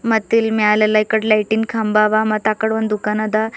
ಮತ್ತಿಲ್ ಮ್ಯಾಲೆಲ್ಲ ಇಕಡ್ ಲೈಟಿನ್ ಕಂಬ ಅವ ಮತ್ತ್ ಅಕಡ್ ಒಂದು ದುಕಾನ್ ಅದ.